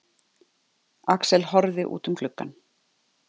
Axel horfði út um gluggann.